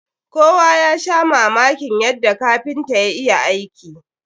Kowa ya sha mamakin yadda kapintan ya iya aiki.